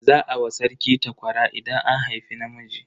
Za a wa sarki takwara idan an haifi namiji.